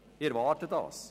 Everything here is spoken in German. Dies erwarte ich.